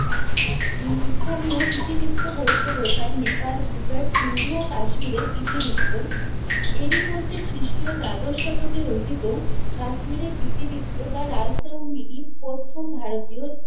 উহ স্থানীয় ইতিবৃত্ত বলতে বোঝায় নেপাল, গুজরাট, সিন্ধু ও কাশ্মীরের ইতিবৃত্ত। এরই মধ্যে খ্রিস্টীয় দ্বাদশ শতকে রচিত কাশ্মীরের ইতিবৃত্ত বা রাজতরঙ্গিনী প্রথম ভারতীয়